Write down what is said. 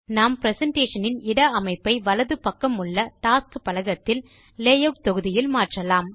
நாம் பிரசன்டேஷன் இன் இட அமைப்பை வலது பக்கமுள்ள டாஸ்க்ஸ் பலகத்தில் லேயூட் தொகுதி இல் மாற்றலாம்